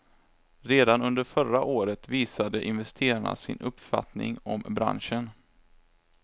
Redan under förra året visade investerarna sin uppfattning om branschen.